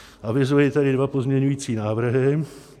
Avizuji tedy dva pozměňovací návrhy.